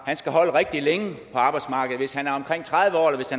er skal holde rigtig længe på arbejdsmarkedet hvis han